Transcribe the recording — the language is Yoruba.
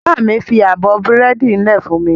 Bàbá mi fi abọ́ búrẹ́dì lẹ̀ fún mi.